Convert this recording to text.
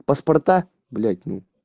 паспорта блять ну